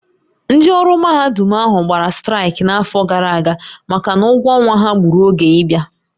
Ndị ọrụ mahadum ahụ gbara straịkị n'afọ gara aga maka na ụgwọ ọnwa ha gbùrù oge ịbịa